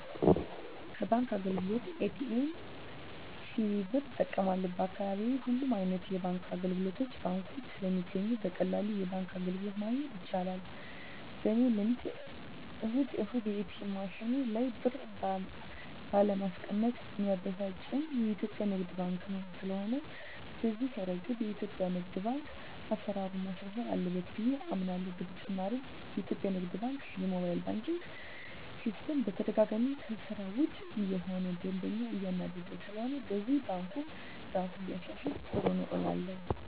ከባንክ አገልግሎት ኤ.ቲ.ኤም፣ ሲቪ ብር እጠቀማለሁ፣ በአካባቢየ ሁሉም አይነት የባንክ አገልግሎቶችና ባንኮች ስለሚገኙ በቀላሉ የባንክ አገልግሎት ማግኘት ይቻላል። በኔ ልምድ እሁድ እሁድ የኤትኤም ማሽኑ ላይ ብር ባለማስቀመጥ ሚያበሳጨኝ የኢትዮጲያ ንግድ ባንክ ነው። ስለሆነም በዚህ እረገድ የኢትዮጲያ ንግድ ባንክ አሰራሩን ማሻሻል አለበት ብየ አምናለሆ። በተጨማሪም የኢትዮጲያ ንግድ ባንክ የሞባይል ባንኪን ሲስተም በተደጋጋሚ ከስራ ውጭ እየሆነ ደንበኛን እያናደደ ስለሆነም በዚህም ባንኩ እራሱን ቢያሻሽል ጥሩ ነው እላለሁ።